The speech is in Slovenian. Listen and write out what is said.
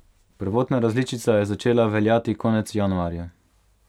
Prvotna različica je začela veljati konec januarja.